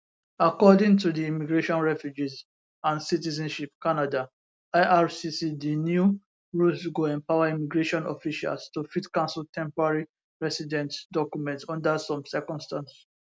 according to di immigration refugees and citizenship canada ircc di new rules go empower immigration officials to fit cancel temporary residents documents under some circumstances